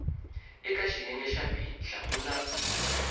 eka xiyenge xa b hlamula